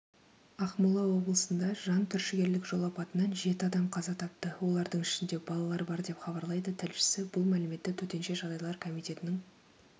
ақмола облысында жантүршігерлік жол апатынан жеті адам қаза тапты олардың ішінде балалар бар деп хабарлайды тілшісі бұл мәліметті төтенше жағдайлар комитетінің